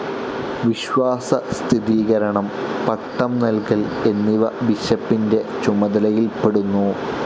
വിശ്വാസസ്ഥിരീകരണം, പട്ടം നല്കൽ എന്നിവ ബിഷപ്പിന്റെ ചുമതലയിൽപ്പെടുന്നു.